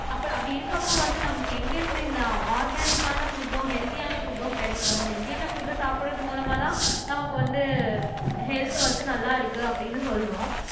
அப்அப்படி இருக்கப்ப வந்து நமக்கு எங்க இருந்து இந்த ஆர்கானிக்கான புட்டும் ஹெல்த்தியான புட்டும் கிடைக்கும் ஹெல்த்தியான புட்டு சாப்பிடுறது மூலமா தான் நமக்கு வந்து ஹெல்த் வந்து நல்லா இருக்கு அப்படின்னு சொல்றோம்